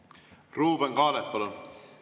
Ruuben Kaalep, palun!